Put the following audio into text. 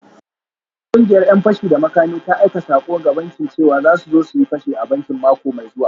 Wata kungiyar ‘yan fashi da makami ta aika sako ga bankin cewa za su zo su yi fashi a bankin mako mai zuwa